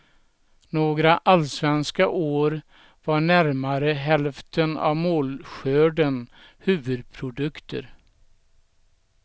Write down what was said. Några allsvenska år var närmare hälften av målskörden huvudprodukter.